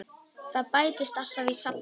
Það bætist alltaf í safnið.